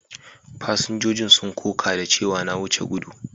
Fasinjojin sun koƙa da cewa na wuce gudu.